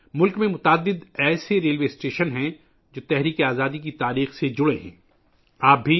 ملک میں ایسے کئی ریلوے اسٹیشن ہیں، جو تحریک آزادی کی تاریخ سے جڑے ہوئے ہیں